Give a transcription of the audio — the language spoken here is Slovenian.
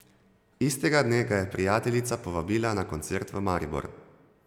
Istega dne ga je prijateljica povabila na koncert v Maribor.